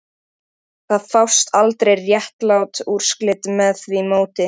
Hún stikaði orðalaust fram í eldhús.